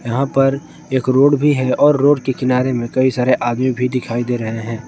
यहां पर एक रोड भी है और रोड के किनारे मे कई सारे आदमी भी दिखाई दे रहे हैं।